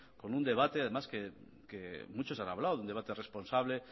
con un debate además que muchos han hablado un debate responsable